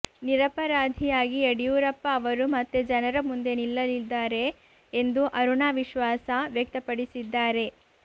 ನಿರಪರಾಧಿಯಾಗಿ ಯಡಿಯೂರಪ್ಪ ಅವರು ಮತ್ತೆ ಜನರ ಮುಂದೆ ನಿಲ್ಲಲಿದ್ದಾರೆ ಎಂದು ಅರುಣಾ ವಿಶ್ವಾಸ ವ್ಯಕ್ತಪಡಿಸಿದ್ದಾರೆ